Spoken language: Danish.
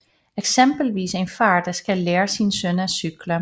Eksempelvis en far der skal lære sin søn at cykle